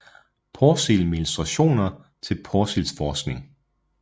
Porsild med illustrationer til Porsilds forskning